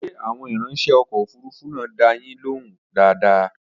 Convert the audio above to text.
Ṣé àwọn ìrańṣẹ́ ọkọ̀ òfurufú náà dá a yín lóhùn dáadáa?